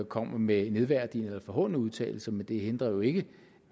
kommer med nedværdigende eller forhånende udtalelser men det hindrer jo ikke